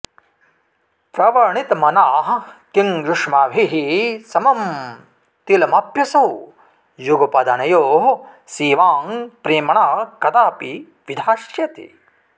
प्रवणितमनाः किं युष्माभिः समं तिलमप्यसौ युगपदनयोः सेवां प्रेम्णा कदापि विधास्यति